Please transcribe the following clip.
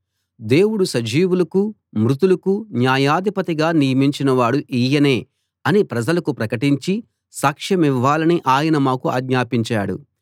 దేవుడు సజీవులకూ మృతులకూ న్యాయాధిపతిగా నియమించినవాడు ఈయనే అని ప్రజలకు ప్రకటించి సాక్షమివ్వాలని ఆయన మాకు ఆజ్ఞాపించాడు